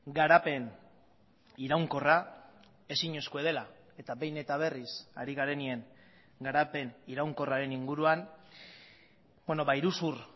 garapen iraunkorra ezinezkoa dela eta behin eta berriz ari garenean garapen iraunkorraren inguruan iruzur